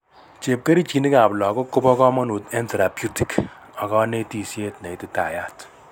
Chepkerichinik ab lagok kobo kamanut en therapeutic ak kanetisiet neititayat